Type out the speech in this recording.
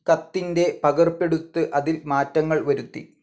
കത്തിന്റെ പകർപ്പെടുത്ത് അതിൽമാറ്റങ്ങൾ വരുത്തി